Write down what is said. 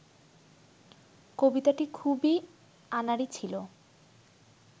কবিতাটি খুবই আনাড়ি ছিল